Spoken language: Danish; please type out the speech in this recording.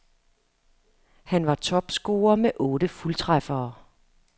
Han var topscorer med otte fuldtræffere.